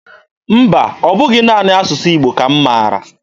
Mba, ọ bụghị naanị asụsụ Igbo ka m maara.